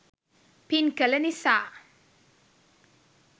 පින්කළ නිසා,